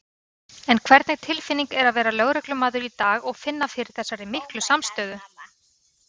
En hvernig tilfinning er að vera lögreglumaður í dag og finna fyrir þessari miklu samstöðu?